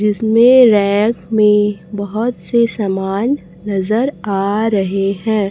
जिसमें रैक में बहोत से समान नजर आ रहे हैं।